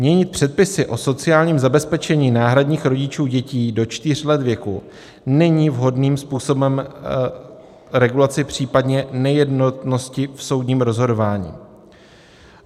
Měnit předpisy o sociálním zabezpečení náhradních rodičů dětí do čtyř let věku není vhodným způsobem regulací, případně nejednotnosti v soudním rozhodování.